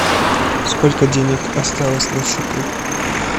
сколько денег осталось на счету